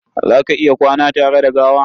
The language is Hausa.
Za ka iya kwana tare da gawa?